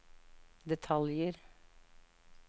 detaljer